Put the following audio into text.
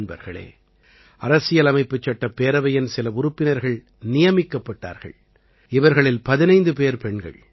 நண்பர்களே அரசியலமைப்புச்சட்டப் பேரவையின் சில உறுப்பினர்கள் நியமிக்கப்பட்டார்கள் இவர்களில் 15 பேர் பெண்கள்